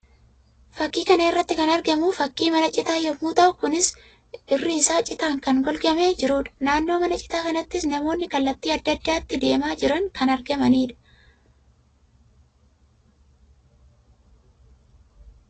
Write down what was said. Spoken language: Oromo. Fakkii kana irratti kan argamu fakkii mana citaa yammuu ta'u; kunis irri isaa citaan kan golgamee jiruu dha. Naannoo mana citaa kanaattis namoonni kallattii addaa addaatti deemaa jiran kan argamanii dha.